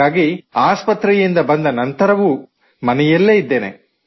ಹಾಗಾಗಿ ಆಸ್ಪತ್ರೆಯಿಂದ ಬಂದ ನಂತರವೂ ಮನೆಯಲ್ಲೇ ಇದ್ದೇನೆ